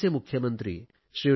आंध्रचे मुख्यमंत्री श्री